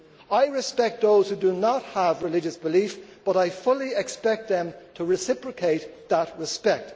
I respect those who do not have religious belief, but I fully expect them to reciprocate that respect.